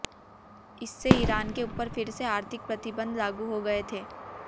इससे ईरान के ऊपर फिर से आर्थिक प्रतिबंध लागू हो गये थे